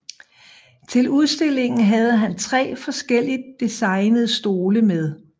Til udstillingen havde han tre forskelligt designede stole med